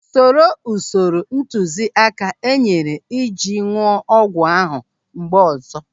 Soro usoro ntụziaka e nyere iji ñụọ ọgwụ ahụ mgbe ọzọ.